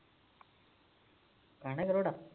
ਖਾਣਾ ਖਰੋੜਾ